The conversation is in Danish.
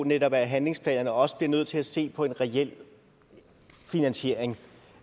netop handlingsplanerne også bliver nødt til at se på en reel finansiering